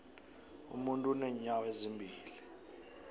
umuntu unenyawo ezimbili